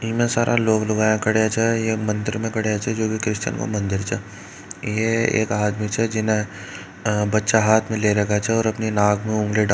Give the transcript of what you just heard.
इतना सारा लोग लुगाया खड़े छ ये मंदिर में खड्या छ जो क्रिस्टियन को मंदिर छ ये एक आदमी छह जिने बच्चा हाथ में ले रखा छ और अपनी नाक में ऊँगली डाल--